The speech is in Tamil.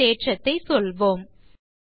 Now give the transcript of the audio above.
அடுத்த தேற்றத்தை சொல்வோம்